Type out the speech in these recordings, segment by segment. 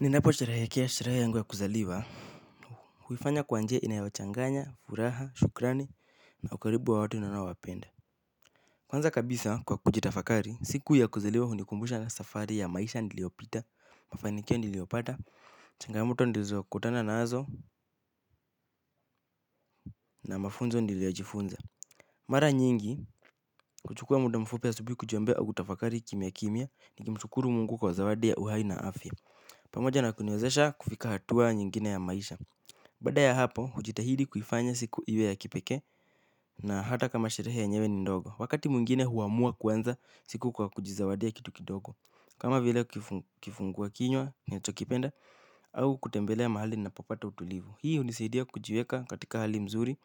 Ninapo sherehekea sherehe yangu ya kuzaliwa huifanya kwa njia inayochanganya, furaha, shukrani na ukaribu wa watu ninaowapenda. Kwanza kabisa kwa kujitafakari, siku ya kuzaliwa hunikumbusha na safari ya maisha niliopita. Mafanikio niliopata, changamoto nilizokutana nazo na mafunzo niliojifunza. Mara nyingi, huchukua muda mfupi asubuhi kujiombea kutafakari kimya kimya. Ni kimshukuru mungu kwa zawadi ya uhai na afya. Pamoja na kuniwezesha kufika hatua nyingine ya maisha. Baada ya hapo, hujitahidi kuifanya siku iwe ya kipekee na hata kama sherehe yenyewe ni ndogo. Wakati mwingine huamua kuanza siku kwa kujizawadia kitu kidogo. Kama vile kifungua kinywa ninachokipenda au kutembelea mahali ninapopata utulivu. Hii hunisaidia kujiweka katika hali mzuri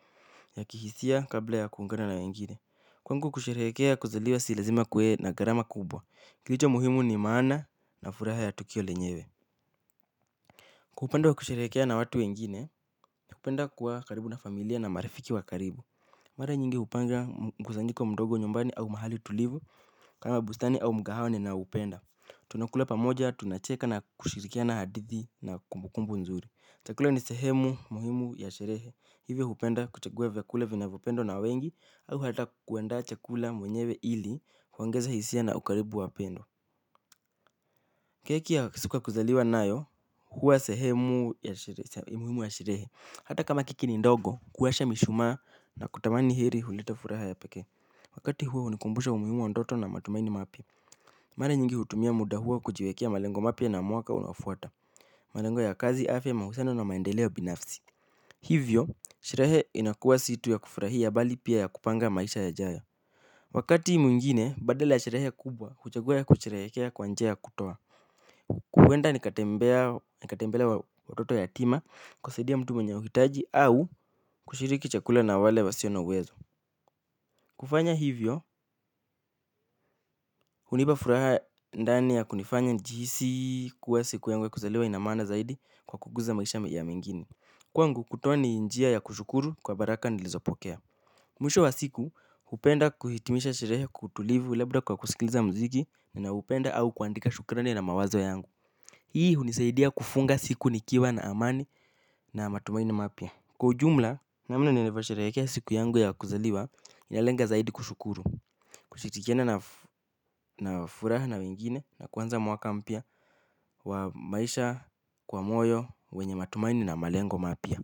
ya kihisia kabla ya kuungana na wengine. Kwangu kusherehekea kuzaliwa si lazima kuwe na gharama kubwa. Kilicho muhimu ni maana na furaha ya tukio lenyewe. Kwa upande wa kusherehekea na watu wengine, napenda kuwa karibu na familia na marifiki wa karibu. Mara nyingi hupanga mkusanyiko mdogo nyumbani au mahali tulivu kama bustani au mkahawa ninaupenda. Tunakula pamoja, tunacheka na kushirikiana hadithi na kumbukumbu nzuri. Chakula ni sehemu muhimu ya sherehe, hivi hupenda kuchagua vyakula vinavyopendwa na wengi au hata kuandaa chakula mwenyewe ili, kuongeza hisia na ukaribu wa pendo. Keki ya siku ya kuzaliwa nayo, huwa sehemu ya muhimu wa sherehe. Hata kama keki ni ndogo, kuwasha mishumaa na kutamani heri huleta furaha ya peke. Wakati huo hunikumbusha muhimu wa ndoto na matumaini mapya. Mara nyingi hutumia muda huo kujiwekea malengo mapya na mwaka unaofuata. Malengo ya kazi afya mahusiano na maendeleo binafsi. Hivyo, sherehe inakuwa si tu ya kufurahia bali pia ya kupanga maisha yajayo. Wakati mwingine, badala sherehe kubwa, huchagua kusherehekea kwa njia ya kutoa huenda nikatembelea watoto yatima kusaidia mtu mwenye uhitaji au kushiriki chakula na wale wasio na uwezo. Kufanya hivyo, hunipa furaha ndani ya kunifanya nijihisi kuwa siku yangu ya kuzaliwa inamaana zaidi kwa kukuza maisha ya mwingine. Kwangu kutoa ni njia ya kushukuru kwa baraka nilizopokea. Mwisho wa siku, hupenda kuhitimisha sherehe kwa utulivu labda kwa kusikiliza mziki na upenda au kuandika shukrani na mawazo yangu. Hii hunisaidia kufunga siku nikiwa na amani na matumaini mapya kwa ujumla. Namna nilivyo sherehekea siku yangu ya kuzaliwa inalenga zaidi kushukuru na furaha na wengine na kuanza mwaka mpya wa maisha kwa moyo wenye matumaini na malengo mapya.